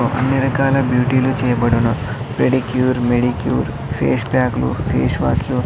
అన్నీ రకాల బ్యూటిలు చేయబడును పెడిక్యూర్ మెడిక్యూర్ ఫేస్ ప్యాక్లు ఫేస్ వాష్ లు .